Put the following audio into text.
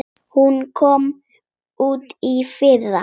Hún kom út í fyrra.